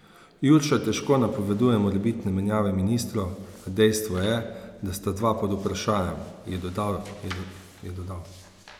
Jurša težko napoveduje morebitne menjave ministrov, a dejstvo je, da sta dva pod vprašajem, je dodal.